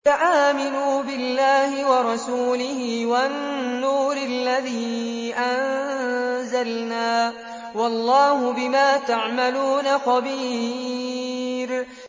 فَآمِنُوا بِاللَّهِ وَرَسُولِهِ وَالنُّورِ الَّذِي أَنزَلْنَا ۚ وَاللَّهُ بِمَا تَعْمَلُونَ خَبِيرٌ